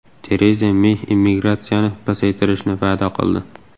Tereza Mey immigratsiyani pasaytirishni va’da qildi.